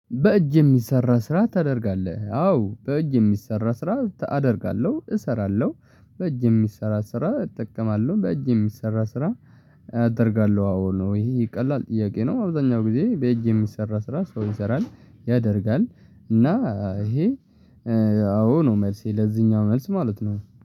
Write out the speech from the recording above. በእጅ የሚሰራ ስራ ታደርጋለህ አዎ በእጅ የሚሰራ ስራ አደርጋለሁ እሰራለሁ። በእጅ የሚሰራ ስራ እጠቀማለሁ በእጅ የሚሰራ ስራ እጠርጋለሁ አዎ ነው። እሂ ቀላል ጥያቄ ነው። አብዛኛው ግዜ በእጅ የሚሰራ ስራ ሰው ይሰራል ያደርጋል እና ይሄ አዎ ነው። መልሴ ለዚህኛው መልስ ማለት ነው